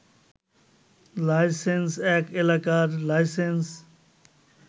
licence এক এলাকার licence